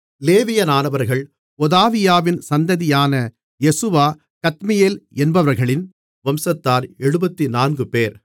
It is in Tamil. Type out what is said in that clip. லேவியரானவர்கள் ஒதாவியாவின் சந்ததியான யெசுவா கத்மியேல் என்பவர்களின் வம்சத்தார் 74 பேர்